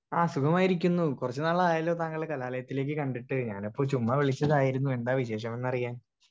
speaker 1 ആ സുഖമായിരിക്കുന്നു കൊറച്ച് നാളായല്ലോ താങ്കളെ കാലലയത്തിലേക്ക് കണ്ടിട്ട് ഞാനപ്പോ ചുമ്മാ വിളിച്ചതായിരുന്നു എന്താ വിശേഷമെന്നറിയാൻ